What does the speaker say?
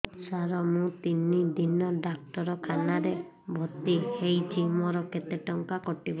ସାର ମୁ ତିନି ଦିନ ଡାକ୍ତରଖାନା ରେ ଭର୍ତି ହେଇଛି ମୋର କେତେ ଟଙ୍କା କଟିବ